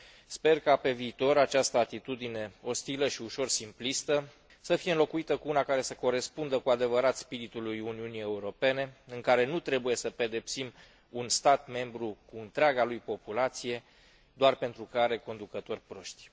Sper ca pe viitor această atitudine ostilă și ușor simplistă să fie înlocuită cu una care să corespundă cu adevărat spiritului Uniunii Europene, în care nu trebuie să pedepsim un stat membru cu întreaga lui populație doar pentru că are conducători proști.